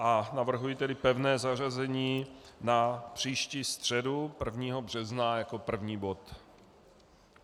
A navrhuji tedy pevné zařazení na příští středu - 1. března jako první bod.